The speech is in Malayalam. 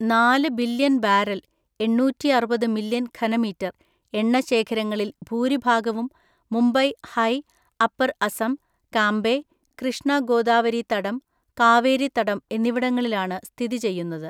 നാല് ബില്യൺ ബാരൽ (എണ്ണൂറ്റിഅറുപത് മില്യൺ ഘനമീറ്റർ) എണ്ണശേഖരങ്ങളിൽ ഭൂരിഭാഗവും മുംബൈ ഹൈ, അപ്പർ അസം, കാംബെ, കൃഷ്ണ ഗോദാവരിതടം, കാവേരിതടം എന്നിവിടങ്ങളിലാണ് സ്ഥിതിചെയ്യുന്നത്.